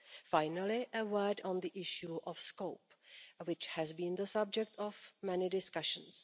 Finally, a word on the issue of scope, which has been the subject of many discussions.